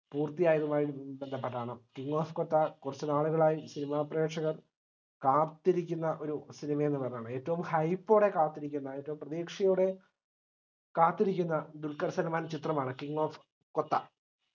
പൂർത്തിയായതുമായി ബന്ധപെട്ടാണ് king of kotha കുറച്ചുനാളുകളായി cinema പ്രേക്ഷകർ കാത്തിരിക്കുന്ന ഒരു cinema എന്ന്പ റഞ്ഞതാണ് ഏറ്റവും hype ഓടെ കാത്തിരിക്കുന്ന ഏറ്റവും പ്രതീക്ഷയോടെ കാത്തിരിക്കുന്ന ദുൽഖർ സൽമാൻ ചിത്രമാണ് king of kotha